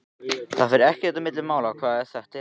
Það fer ekkert á milli mála hvar þetta er.